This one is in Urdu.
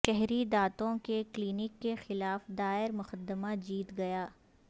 شہری دانتوں کے کلینک کے خلاف دائر مقدمہ جیت گیا